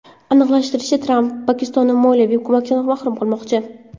Aniqlashtirilishicha, Tramp Pokistonni moliyaviy ko‘makdan mahrum qilmoqchi.